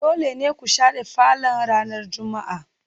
Dole ne ku share falon ranar Juma'a